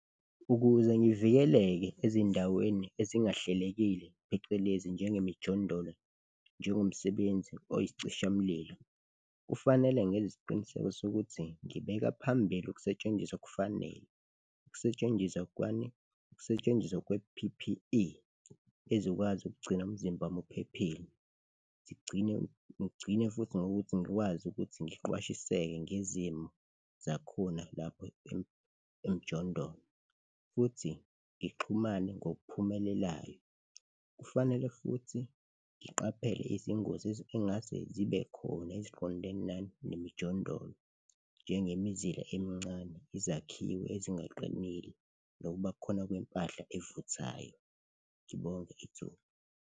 Ukuze ngivikeleke ezindaweni ezingahlelekile, phecelezi njengemijondolo njengomsebenzi oyisicishamlilo, kufanele ngenze isiqiniseko sokuthi ngibeka phambili ukusetshenziswa okufanele. Ukusetshenziswa kwani? Ukusetshenziswa kwe-P_P_E ezokwazi ukugcina umzimba wami uphephile sigcine, ngcine futhi ngokuthi ngikwazi ukuthi ngiqwashiseke ngezimo zakhona lapho emjondolo futhi ngixhumane ngokuphumelelayo. Kufanele futhi ngiqaphele izingozi ey'ngase zibe khona, eziqondene nani? Nemijondolo, njengemizila emincane, izakhiwe ezingaqinile nokubakhona kwempahla evuthayo. Ngibonge ithuba.